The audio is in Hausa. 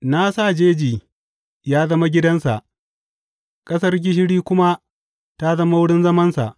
Na sa jeji yă zama gidansa ƙasar gishiri kuma ta zama wurin zamansa.